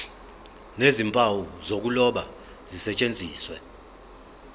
nezimpawu zokuloba zisetshenziswe